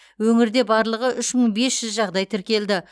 өңірде барлығы үш мың бес жүз жағдай тіркелді